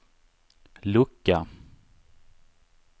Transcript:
lucka